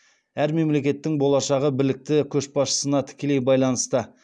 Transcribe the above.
әр мемлекеттің болашағы білікті көшбасшысына тікелей байланысты